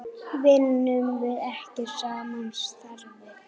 Vinnum við ekki sama starfið?